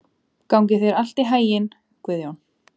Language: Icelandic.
Gangi þér allt í haginn, Guðjón.